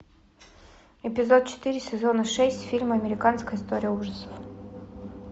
эпизод четыре сезона шесть фильма американская история ужасов